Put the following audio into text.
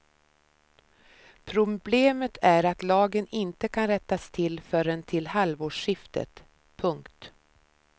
Problemet är att lagen inte kan rättas till förrän till halvårsskiftet. punkt